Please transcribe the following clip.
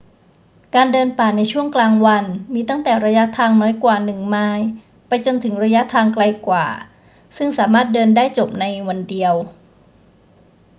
การเดินป่าในช่วงกลางวันมีตั้งแต่ระยะทางน้อยกว่าหนึ่งไมล์ไปจนถึงระยะทางไกลกว่าซึ่งสามารถเดินได้จบได้ในวันเดียว